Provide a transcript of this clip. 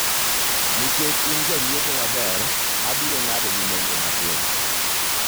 nikech in janyiepo maber, abiro ng'ado ni nengo amtin